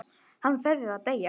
Hann verður að deyja.